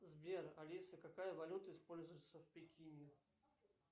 сбер алиса какая валюта используется в пекине